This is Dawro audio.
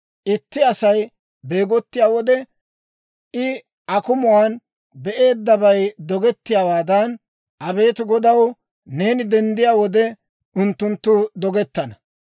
Itti Asay beegottiyaa wode, I akumuwaan be'eeddabay dogettiyaawaadan, abeet Godaw, neeni denddiyaa wode, unttunttu dogetana.